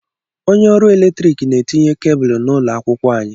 Onye ọrụ eletrik na-etinye kebụlụ n'ụlọ akwụkwọ anyị.